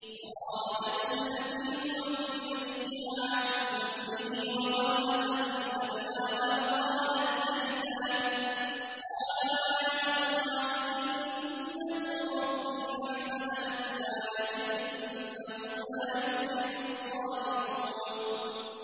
وَرَاوَدَتْهُ الَّتِي هُوَ فِي بَيْتِهَا عَن نَّفْسِهِ وَغَلَّقَتِ الْأَبْوَابَ وَقَالَتْ هَيْتَ لَكَ ۚ قَالَ مَعَاذَ اللَّهِ ۖ إِنَّهُ رَبِّي أَحْسَنَ مَثْوَايَ ۖ إِنَّهُ لَا يُفْلِحُ الظَّالِمُونَ